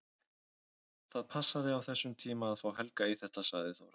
Það passaði á þessum tíma að fá Helga í þetta, sagði Þórhallur.